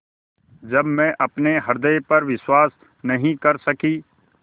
जब मैं अपने हृदय पर विश्वास नहीं कर सकी